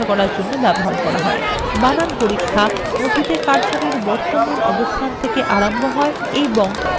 spell check কার্সরএর বর্তমান অবস্থান থেকে আরম্ভ হয় এবং নথির অথবা নির্বাচনএর শেষ পর্যন্ত চলে